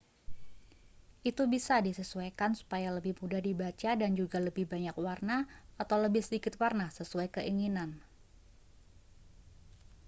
itu bisa disesuaikan supaya lebih mudah dibaca dan juga lebih banyak warna atau lebih sedikit warna sesuai keinginan